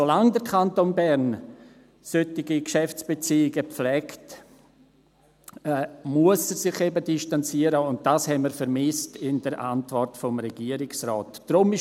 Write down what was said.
Solange der Kanton Bern solche Geschäftsbeziehungen pflegt, muss er sich eben distanzieren, und das haben wir in der Antwort des Regierungsrates vermisst.